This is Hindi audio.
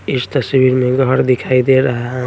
इस तस्वीर में घड़ दिखाई दे रहा --